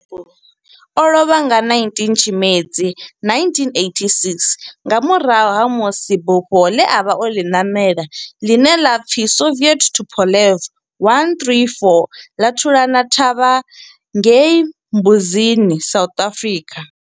O lovha nga 19 Tshimedzi 1986 nga murahu ha musi bufho ḽe a vha o ḽi ṋamela, ḽine ḽa pfi Soviet Tupolev 134 ḽa thulana thavha ngei Mbuzini, South Africa.